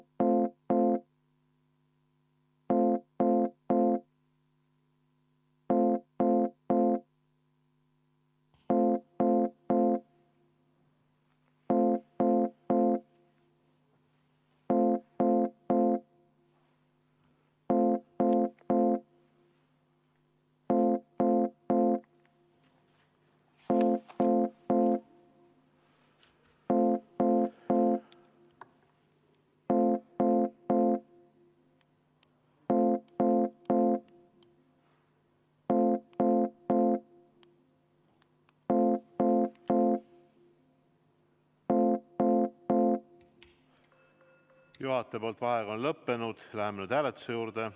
Juhataja vaheaeg on lõppenud, läheme hääletuse juurde.